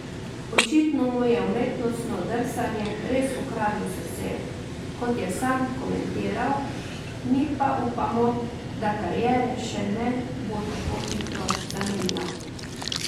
Očitno mu je umetnostno drsanje res ukradlo srce, kot je sam komentiral, mi pa upamo, da kariere še ne bo tako hitro zamenjal.